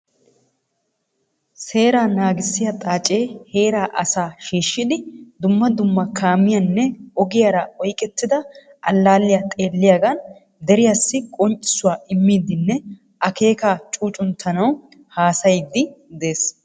Seeraa naagissiya xaacee heeraa asaa shiishshidi dumma dumma kaamiyanne ogiyara oyqettida allaalliya xeelliyagan deriyassi qonccissuwa immiiddinne akeekaa cuucunttanawu haasayiiddi de'ees.